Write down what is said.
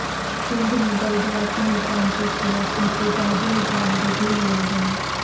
سندھ میں بلدیاتی نظام کے خلاف احتجاجی مظاہرے بھی ہوئے ہیں